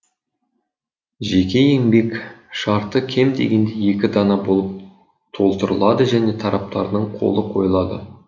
жеке еңбек шарты кем дегенде екі дана болып толтырылады және тараптардың қолы койылады